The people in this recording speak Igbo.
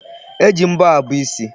E ji mbọ abọ isi.